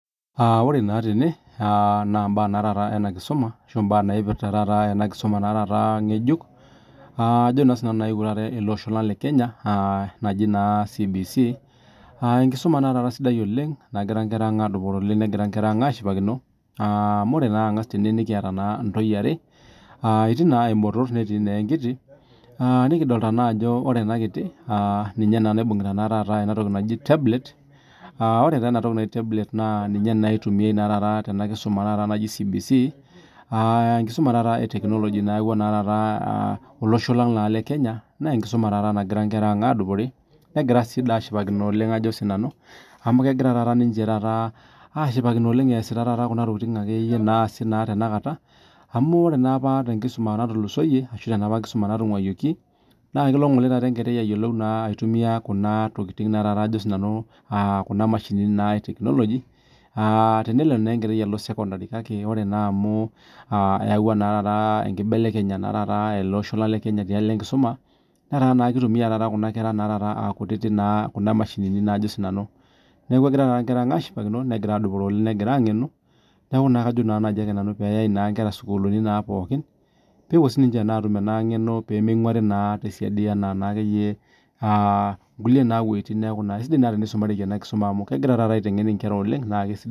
Ore naa tene na mbaa ena kisuma ashu mbaa naipirta ena kisuma ng'ejuk nayewuo taata ele Osho le Kenya enkisuma naa taata sidai nagira Nkera ang adupore oleng negira Nkera ashipakino adolita entoyie are etii naa ebotor netii enkiti nikidolita naa Ajo ore ena kiti ninye naibungieta taata ena toki naaji tablet aa ore taa enatoki naaji tablet naa ninye eitumiai Tena kisuma naaji CBC enkisuma naa etekinoloji nayawua taata olosho Lang le Kenya negira adupore negira doi sii ashipakino amu kegira taata ninche ashipakino esita Kuna tokitin akeyie naasi tanakata amu ore napa tenkisuma natulusoyie ashu enapa [cs[kisuma natunguayioki naa kelo enkerai ayiolou Kuna tokitin Kuna mashinini etekinoloji tenelo naa enkerai Alo sekondari kake ore naa taata amu eyawuaki enkinelekenyata taata tialo enkisuma netaa naa kitumia Nkera ang aa kutiti Kuna mashinini neeku egira taata enkera ang ashipakino negira adupore negira ang'enu neeku kajo naajike ake pee eyau enkera sukuulini pookin pee epuo sininche atum ena ng'eno pee minguarii tesiadii ena nkulie wuejitin neeku sidai teni sumareki ena kisuma amu egira aiteng'en enkera oleng